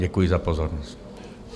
Děkuji za pozornost.